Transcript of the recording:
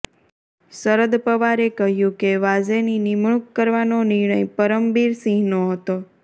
શરદ પવારે કહ્યું કે વાઝેની નિમણૂક કરવાનો નિર્ણય પરમબીરસિંહનો હતો